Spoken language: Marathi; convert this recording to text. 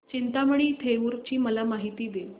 चिंतामणी थेऊर ची मला माहिती दे